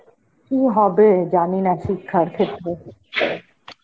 কি হবে জানিনা শিক্ষার ক্ষেত্রে.